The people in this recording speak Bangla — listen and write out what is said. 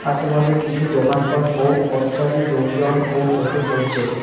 আশেপাশে কিছু দোকানপাট ও পথচারী লোকজনও চোখে পড়ছে।